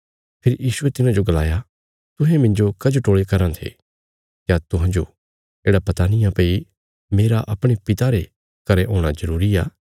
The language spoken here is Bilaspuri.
फेरी यीशुये तिन्हाजो गलाया तुहें मिन्जो कजो टोल़ी कराँ थे क्या तुहांजो येढ़ा पता निआं भई मेरा अपणे पिता रे घरें हूणा जरूरी आ